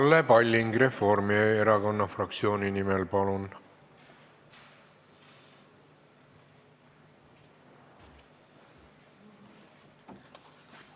Kalle Palling Reformierakonna fraktsiooni nimel, palun!